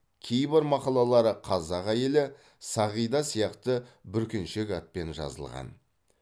кейбір мақалалары қазақ әйелі сағида сияқты бүркеншек атпен жазылған